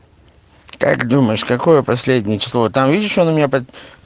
как думаешь какое последнее число там видишь он у меня под